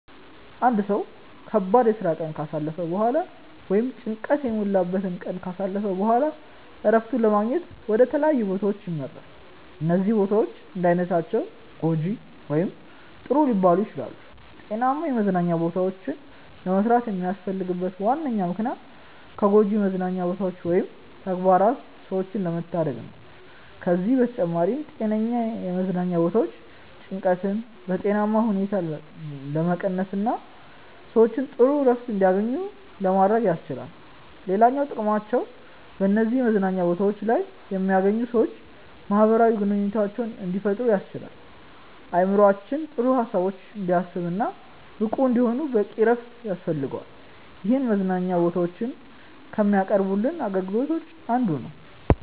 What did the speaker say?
አንድ ሰው ከባድ የስራ ቀን ካሳለፈ በኋላ ወይም ጭንቀት የሞላበትን ቀን ካሳለፈ በኋላ እረፍትን ለማግኘት ወደ ተለያዩ ቦታዎች ያመራል። እነዚህ ቦታዎች እንዳይነታቸው ጐጂ ወይም ጥሩ ሊባሉ ይችላሉ። ጤናማ የመዝናኛ ቦታዎችን ለመስራት የሚያስፈልግበት ዋነኛ ምክንያት ከጎጂ መዝናኛ ቦታዎች ወይም ተግባራት ሰዎችን ለመታደግ ነው። ከዚህም በተጨማሪ ጤነኛ የመዝናኛ ቦታዎች ጭንቀትን በጤናማ ሁኔታ ለመቀነስና ሰዎች ጥሩ እረፍት እንዲያገኙ ለማድረግ ያስችላሉ። ሌላኛው ጥቅማቸው በነዚህ መዝናኛ ቦታዎች ላይ የሚገኙ ሰዎች ማህበራዊ ግንኙነት እንዲፈጥሩ ያስችላል። አእምሮአችን ጥሩ ሀሳቦችን እንዲያስብ እና ብቁ እንዲሆን በቂ እረፍት ያስፈልገዋል ይህም መዝናኛ ቦታዎች ከሚያቀርቡልን አገልግሎቶች አንዱ ነው።